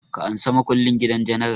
Ka ansa makullin gidan general!